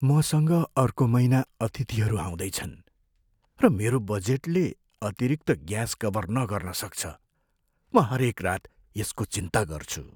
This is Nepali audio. मसँग अर्को महिना अतिथिहरू आउँदैछन्, र मेरो बजेटले अतिरिक्त ग्यास कभर नगर्न सक्छ। म हरेक रात यसको चिन्ता गर्छु।